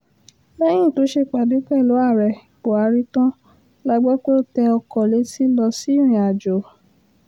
lẹ́yìn tó ṣèpàdé pẹ̀lú ààrẹ buhari tán la gbọ́ pé ó tẹ ọkọ̀ létí lọ sí ìrìnàjò